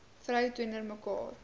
vrou teenoor mekaar